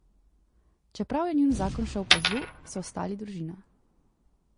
Čeprav je njun zakon šel po zlu, so ostali družina.